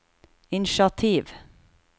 initiativ